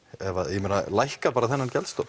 ég meina lækka bara þennan